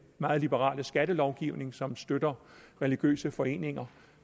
meget liberale skattelovgivning som støtter religiøse foreninger